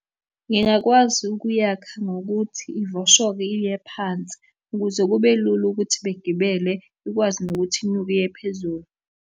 Ngingakwazi ukuyakha ngokuthi ivoshoke iye phansi ukuze kube lula ukuthi begibele ikwazi nokuthi inyuke iye phezulu.